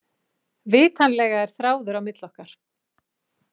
Vitanlega er þráður á milli okkar.